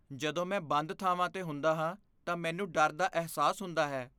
ਜਦੋਂ ਮੈਂ ਬੰਦ ਥਾਵਾਂ 'ਤੇ ਹੁੰਦਾ ਹਾਂ ਤਾਂ ਮੈਨੂੰ ਡਰ ਦਾ ਅਹਿਸਾਸ ਹੁੰਦਾ ਹੈ।